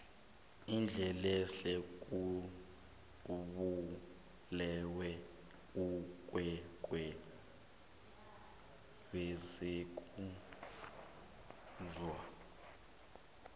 undlelehle ubulewe bulwelwe besikhuwa